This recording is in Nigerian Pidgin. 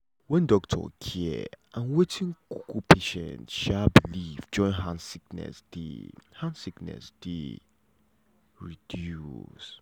when doctor care and wetin um patient um belief join hand sickness dey hand sickness dey reduce.